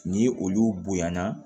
Ni olu bonya na